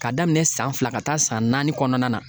Ka daminɛ san fila ka taa san naani kɔnɔna na